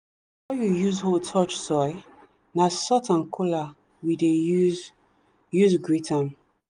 you use hoe touch soil na salt and kola we dey use use greet am.